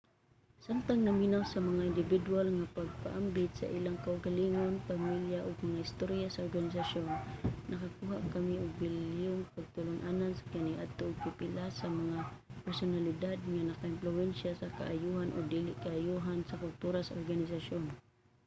samtang naminaw sa mga indibidwal nga nagpaambit sa ilang kaugalingon pamilya ug mga istorya sa organisasyon nakakuha kami og bililhong pagtulun-an sa kaniadto ug pipila sa mga personalidad nga nakaimpluwensya sa kaayohan o dili kaayohan sa kultura sa organisasyon